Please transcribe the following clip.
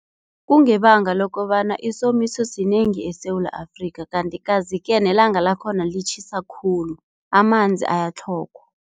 Kungebanga lokobana isomiso sinengi eSewula Afrika kanti kazi-ke nelanga lakhona litjhisa khulu, amanzi ayatlhogwa.